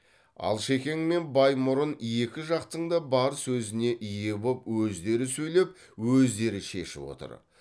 алшекең мен баймұрын екі жақтың да бар сөзіне ие боп өздері сөйлеп өздері шешіп отыр